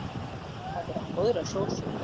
Því hvað er jólamatur án góðrar sósu?